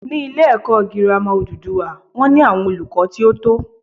Ní ilé èkó girama odùduwà wón ní àwon olùkó tí ó tó